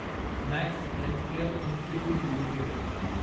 max healthcare institute limited